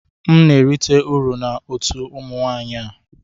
M na-erite uru na otu ụmụ nwanyị a